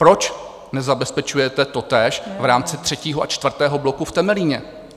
Proč nezabezpečujete totéž v rámci třetího a čtvrtého bloku v Temelíně?